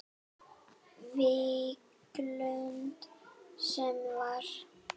Víglund sem var.